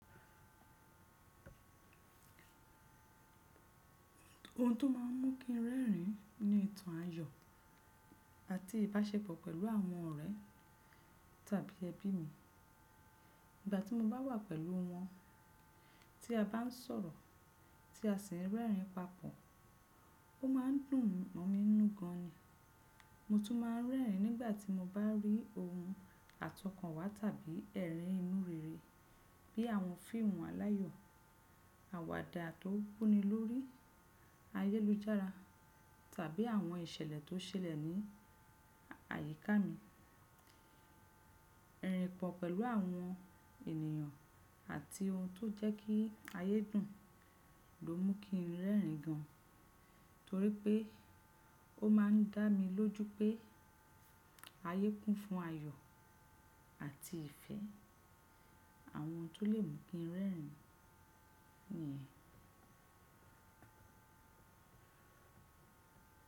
Ohun tó má a ń mú kí n rẹ́rìn ni ìtàn ayọ̀ àti ìbáṣepọ̀ pẹ̀lú àwọn ọ̀rẹ́ tàbí ẹbí mi. Ìgbà tí mo bá wà pẹ̀lú wọn, tí a bá ń sọ̀rọ̀, tí a sì ń rẹ́rìn papọ̀, ó má ń dùn mọ mi nú gan ni. Mo tún má ń rẹ́rìn nígbà tí mo bá rí ohun àtọkànwá tàbí ẹ̀rín ìnurere bí i àwọn fíìmù aláyọ̀, àwàdà tó wunilórí ayélujára tàbí àwọn ìṣẹ̀lẹ̀ tó ṣẹlẹ̀ ní àyíká mi. Irin pọ̀ pẹ̀lú àwọn ènìyàn àti ohun tó jẹ́ kí ayé dùn ló mú kí n rẹ́rìn gan, torí pé ó má ń dá mi lójú pé ayé kún fún ayọ̀ àti ìfẹ́. Àwọn ohun tó lè mú kí n rẹ́rìn ni yẹn.